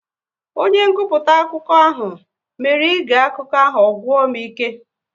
Onye nguputa akụkọ ahụ mere ige akụkọ ahụ ọ gwụ m ike